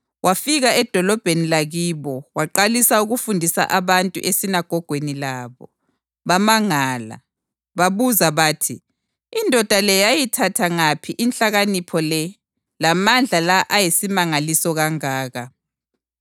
Wafika edolobheni lakibo waqalisa ukufundisa abantu esinagogweni labo, bamangala. Babuza bathi, “Indoda le yayithatha ngaphi inhlakanipho le lamandla la ayisimangaliso kangaka?